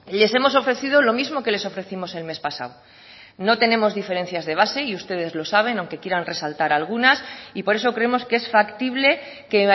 les hemos ofrecido lo mismo que les ofrecimos el mes pasado no tenemos diferencias de base y ustedes lo saben aunque quieran resaltar algunas y por eso creemos que es factible que